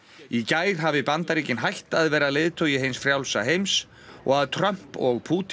í gær hafi Bandaríkin hætt að vera leiðtogi hins frjálsa heims og að Trump og Pútín